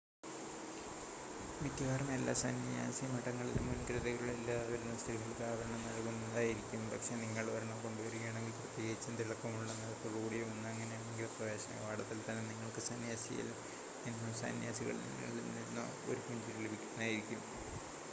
മിക്കവാറും എല്ലാ സന്യാസിമഠങ്ങളിലും മുൻകരുതലുകൾ ഇല്ലാതെ വരുന്ന സ്ത്രീകൾക്ക് ആവരണം നൽകുന്നതായിരിക്കും പക്ഷെ നിങ്ങൾ ഒരെണ്ണം കൊണ്ടു വരുകയാണെങ്കിൽ പ്രത്യേകിച്ചും തിളക്കം ഉള്ള നിറത്തോടുകൂടിയ ഒന്ന് അങ്ങനെയെങ്കിൽ പ്രവേശന കവാടത്തിൽ തന്നെ നിങ്ങൾക്ക് സന്യാസിയിൽ നിന്നോ സന്യാസിനികളിൽ നിന്നോ ഒരു പുഞ്ചിരി ലഭിക്കുന്നതായിരിക്കും